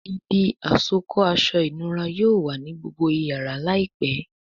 Ibi àsokọ́ aṣọ ìnura yóò wá ní gbógbó iyàrá láìpé.